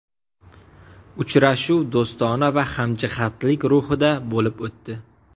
Uchrashuv do‘stona va hamjihatlik ruhida bo‘lib o‘tdi.